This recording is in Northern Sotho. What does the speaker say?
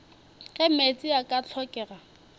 ge meetse a ka hlokega